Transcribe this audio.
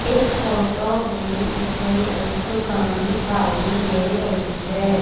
इस फोटो में मुझे एक दुकान दिखाई दे रही है।